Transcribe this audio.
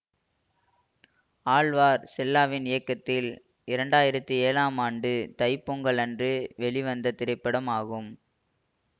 ஆழ்வார் செல்லாவின் இயக்கத்தில் இரண்டாயிரத்தி ஏழு ஆம் ஆண்டு தை பொங்கல் அன்று வெளிவந்த திரைப்படம் ஆகும்